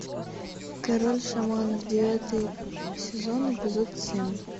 король шаманов девятый сезон эпизод семь